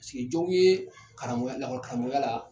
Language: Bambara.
sigi jɔw ye karamɔgɔya lakɔli karamɔgɔya la